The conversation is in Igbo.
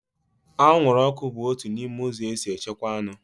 Anwụrụọkụ bụ otu n'ime ụzọ esi echekwaa anụ